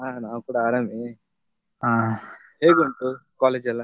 ಹ ನಾವು ಕೂಡ ಆರಾಮೇ , ಹೇಗುಂಟು college ಯೆಲ್ಲಾ?